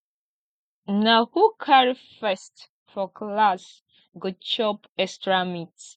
na who carry first for class go chop extra meat